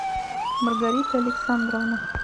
маргарита александровна